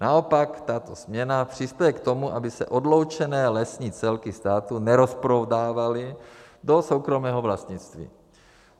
Naopak tato směna přispěje k tomu, aby se odloučené lesní celky státu nerozprodávaly do soukromého vlastnictví.